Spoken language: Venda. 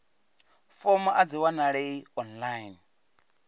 fomo a dzi wanalei online